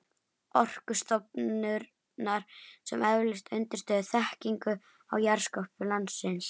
Orkustofnunar sem efldu undirstöðuþekkingu á jarðskorpu landsins.